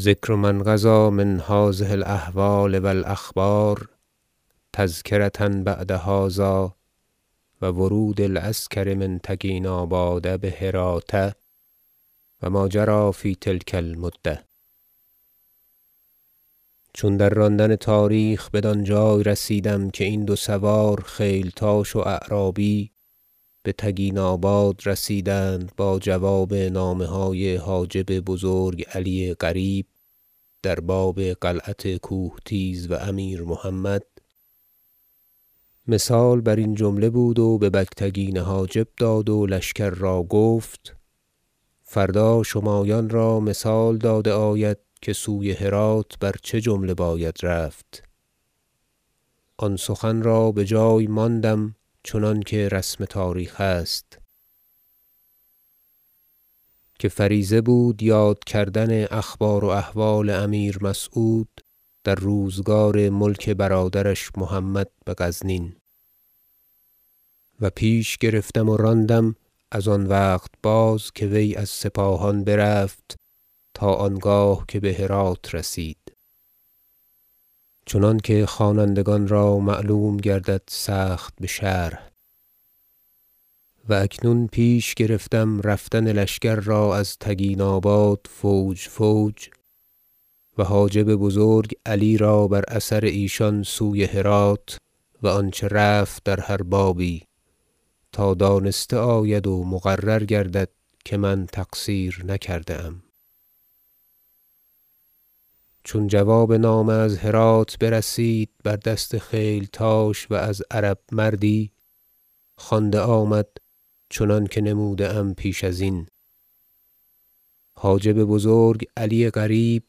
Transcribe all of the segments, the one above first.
ذکر ما انقضی من هذه الأحوال و الأخبار تذکرة بعد هذا و ورود العسکر من تکیناباد بهراة و ما جری في تلک المدة چون در راندن تاریخ بدان جای رسیدم که این دو سوار خیلتاش و اعرابی به تگیناباد رسیدند با جواب نامه های حاجب بزرگ علی قریب در باب قلعت کوهتیز و امیر محمد مثال بر این جمله بود و به بگتگین حاجب داد و لشکر را گفت فردا شمایان را مثال داده آید که سوی هرات بر چه جمله باید رفت آن سخن را به جای ماندم چنانکه رسم تاریخ است که فریضه بود یاد کردن اخبار و احوال امیر مسعود در روزگار ملک برادرش محمد به غزنین و پیش گرفتم و راندم از آن وقت باز که وی از سپاهان برفت تا آنگاه که به هرات رسید چنانکه خوانندگان را معلوم گردد سخت بشرح و اکنون پیش گرفتم رفتن لشکر را از تگیناباد فوج فوج و حاجب بزرگ علی را بر اثر ایشان سوی هرات و آنچه رفت در هر بابی تا دانسته آید و مقرر گردد که من تقصیر نکرده ام چون جواب نامه از هرات برسید بر دست خیلتاش و از عرب مردی خوانده آمد چنانکه نموده ام پیش از این حاجب بزرگ علی قریب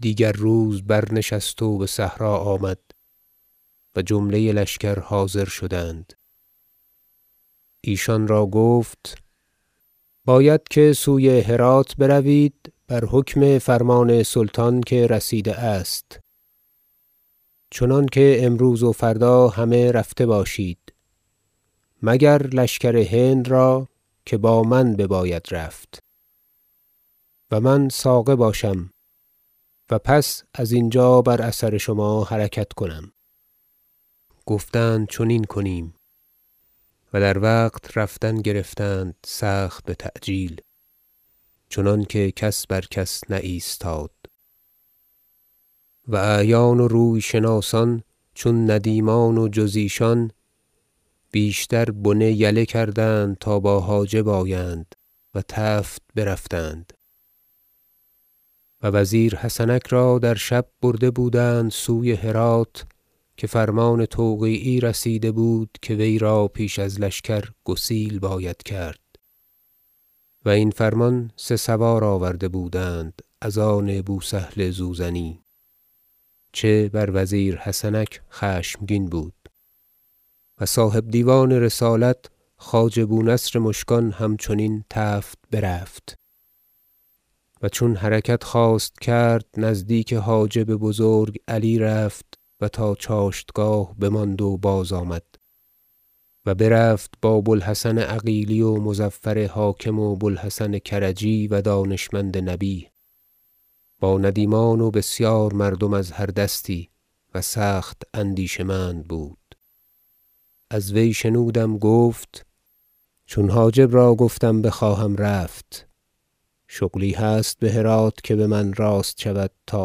دیگر روز برنشست و به صحرا آمد و جمله لشکر حاضر شدند ایشان را گفت باید که سوی هرات بروید بر حکم فرمان سلطان که رسیده است چنانکه امروز و فردا همه رفته باشید مگر لشکر هند را که با من بباید رفت و من ساقه باشم و پس از اینجا بر اثر شما حرکت کنم گفتند چنین کنیم و در وقت رفتن گرفتند سخت بتعجیل چنانکه کس بر کس نایستاد و اعیان و روی شناسان چون ندیمان و جز ایشان بیشتر بنه یله کردند تا با حاجب آیند و تفت برفتند و وزیر حسنک را در شب برده بودند سوی هرات که فرمان توقیعی رسیده بود که وی را پیش از لشکر گسیل باید کرد و این فرمان سه سوار آورده بودند از آن بوسهل زوزنی چه بر وزیر حسنک خشمگین بود و صاحب دیوان رسالت خواجه بونصر مشکان همچنین تفت برفت و چون حرکت خواست کرد نزدیک حاجب بزرگ علی رفت و تا چاشتگاه بماند و بازآمد و برفت با بوالحسن عقیلی و مظفر حاکم و بوالحسن کرجی و دانشمند نبیه با ندیمان و بسیار مردم از هر دستی و سخت اندیشه مند بود از وی شنودم گفت چون حاجب را گفتم بخواهم رفت شغلی هست به هرات که به من راست شود تا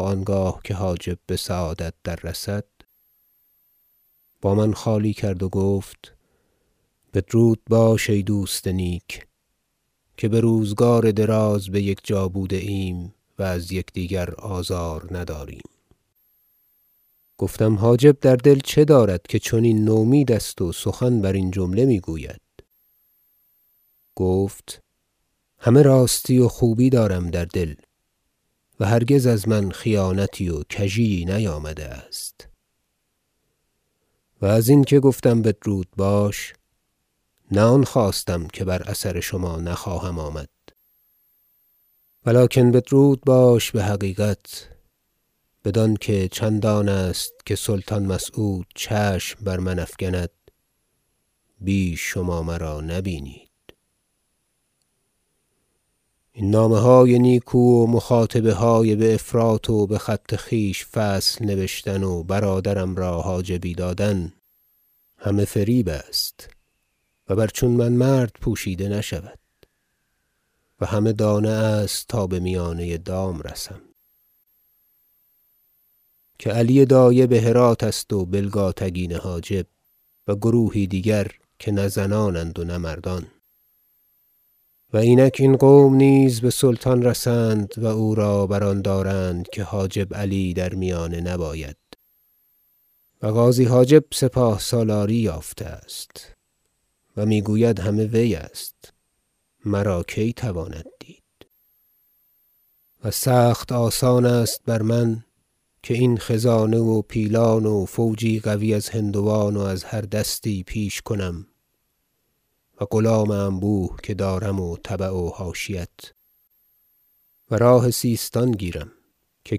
آنگاه که حاجب به سعادت دررسد با من خالی کرد و گفت بدرود باش ای دوست نیک که به روزگار دراز به یکجا بوده ایم و از یکدیگر آزار نداریم گفتم حاجب در دل چه دارد که چنین نومید است و سخن بر این جمله می گوید گفت همه راستی و خوبی دارم در دل و هرگز از من خیانتی و کژی یی نیامده است و از اینکه گفتم بدرود باش نه آن خواستم که بر اثر شما نخواهم آمد ولکن بدرود باش بحقیقت بدانکه چندانست که سلطان مسعود چشم بر من افگند بیش شما مرا نبینید این نامه های نیکو و مخاطبه های بافراط و بخط خویش فصل نبشتن و برادرم را حاجبی دادن همه فریب است و بر چون من مرد پوشیده نشود و همه دانه است تا به میانه دام رسم که علی دایه به هرات است و بلگاتگین حاجب و گروهی دیگر که نه زنانند و نه مردان و اینک این قوم نیز به سلطان رسند و او را بر آن دارند که حاجب علی در میانه نباید و غازی حاجب سپاه سالاری یافته است و می گوید همه وی است مرا کی تواند دید و سخت آسان است بر من که این خزانه و پیلان و فوجی قوی از هندوان و از هر دستی پیش کنم و غلام انبوه که دارم و تبع و حاشیت و راه سیستان گیرم که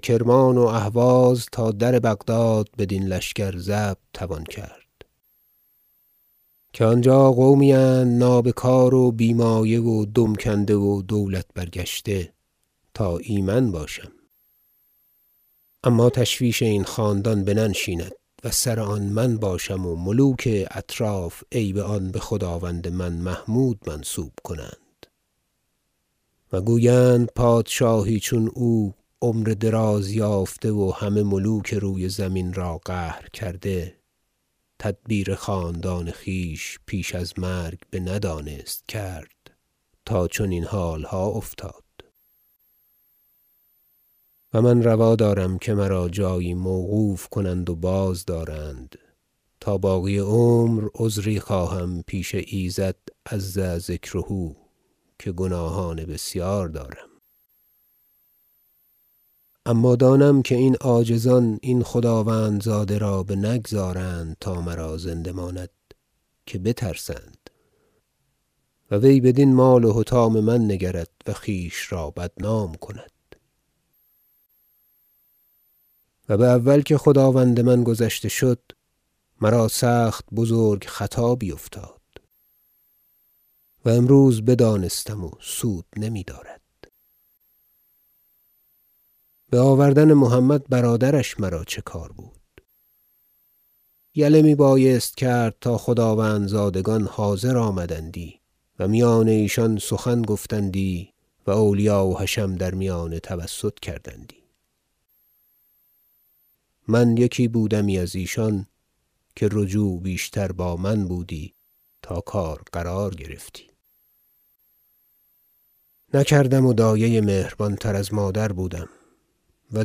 کرمان و اهواز تا در بغداد بدین لشکر ضبط توان کرد که آنجا قومی اند نابکار و بی مایه و دم کنده و دولت برگشته تا ایمن باشم اما تشویش این خاندان بننشیند و سر آن من باشم و ملوک اطراف عیب آن به خداوند من محمود منسوب کنند و گویند پادشاهی چون او عمر دراز یافته و همه ملوک روی زمین را قهر کرده تدبیر خاندان خویش پیش از مرگ بندانست کرد تا چنین حالها افتاد و من روا دارم که مرا جایی موقوف کنند و بازدارند تا باقی عمر عذری خواهم پیش ایزد -عز ذکره- که گناهان بسیار دارم اما دانم که این عاجزان این خداوندزاده را بنگذارند تا مرا زنده ماند که بترسند و وی بدین مال و حطام من نگرد و خویش را بدنام کند و به اول که خداوند من گذشته شد مرا سخت بزرگ خطا بیفتاد -و امروز بدانستم و سود نمی دارد- به آوردن محمد برادرش مرا چه کار بود یله می بایست کرد تا خداوندزادگان حاضر آمدندی و میان ایشان سخن گفتندی و اولیا و حشم در میانه توسط کردندی من یکی بودمی از ایشان که رجوع بیشتر با من بودی تا کار قرار گرفتی نکردم و دایه مهربان تر از مادر بودم و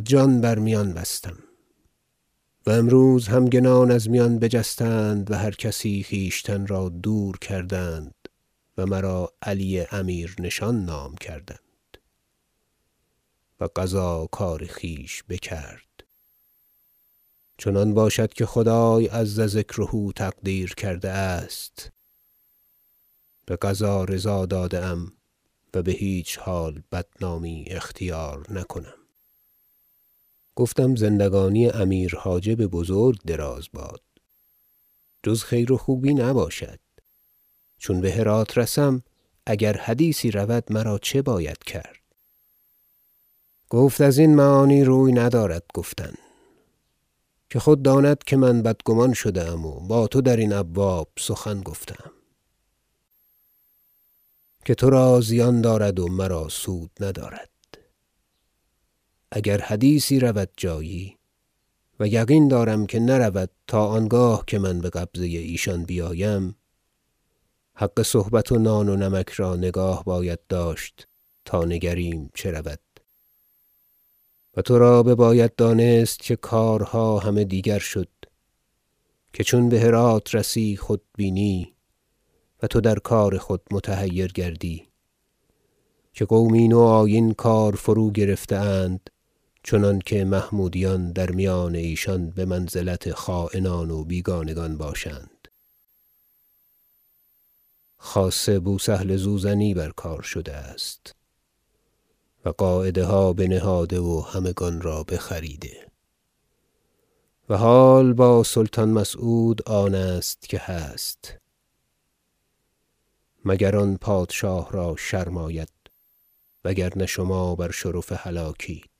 جان بر میان بستم و امروز همگنان از میان بجستند و هرکسی خویشتن را دور کردند و مرا علی امیرنشان نام کردند و قضا کار خویش بکرد چنان باشد که خدای -عز ذکره- تقدیر کرده است به قضا رضا داده ام و به هیچ حال بدنامی اختیار نکنم گفتم زندگانی امیر حاجب بزرگ دراز باد جز خیر و خوبی نباشد چون به هرات رسم اگر حدیثی رود مرا چه باید کرد گفت از این معانی روی ندارد گفتن که خود داند که من بدگمان شده ام و با تو در این ابواب سخن گفته ام که ترا زیان دارد و مرا سود ندارد اگر حدیثی رود جایی -و یقین دارم که نرود تا آنگاه که من به قبضه ایشان بیایم- حق صحبت و نان و نمک را نگاه باید داشت تا نگریم چه رود و ترا بباید دانست که کارها همه دیگر شد که چون به هرات رسی خود بینی و تو در کار خود متحیر گردی که قومی نوآیین کار فروگرفته اند چنانکه محمودیان در میان ایشان به منزلت خاینان و بیگانگان باشند خاصه که بوسهل زوزنی بر کار شده است و قاعده ها بنهاده و همگان را بخریده و حال با سلطان مسعود آن است که هست مگر آن پادشاه را شرم آید وگرنه شما بر شرف هلاکید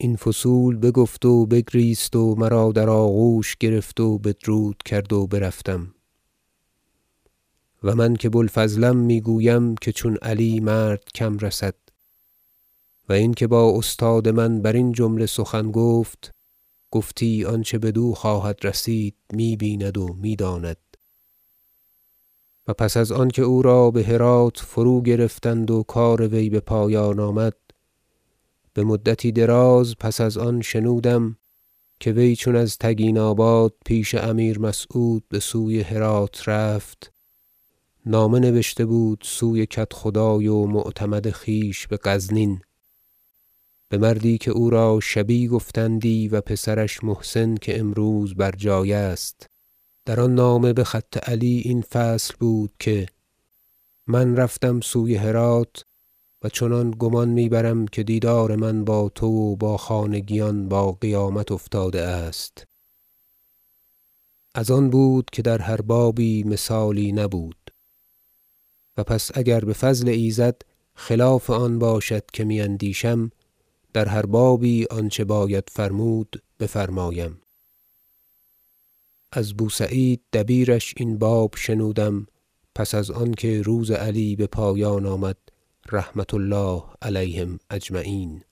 این فصول بگفت و بگریست و مرا در آغوش گرفت و بدرود کرد و برفتم و من که بوالفضلم می گویم که چون علی مرد کم رسد و اینکه با استاد من برین جمله سخن گفت گفتی آنچه بدو خواهد رسید می بیند و می داند و پس از آنکه او را به هرات فروگرفتند و کار وی به پایان آمد بمدتی دراز پس از آن شنودم که وی چون از تگیناباد پیش امیر مسعود به سوی هرات رفت نامه نبشته بود سوی کدخدای و معتمد خویش به غزنین به مردی که او را شبی گفتندی و پسرش محسن که امروز بر جای است در آن نامه به خط علی این فصل بود که من رفتم سوی هرات و چنان گمان می برم که دیدار من با تو و با خانگیان با قیامت افتاده است از آن بود که در هر بابی مثالی نبود و پس اگر به فضل ایزد خلاف آن باشد که می اندیشم در هر بابی آنچه باید فرمود بفرمایم از بوسعید دبیرش این باب شنودم پس از آنکه روز علی به پایان آمد رحمة الله علیهم أجمعین